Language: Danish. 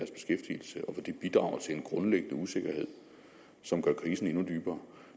bidrager til en grundlæggende usikkerhed som gør krisen endnu dybere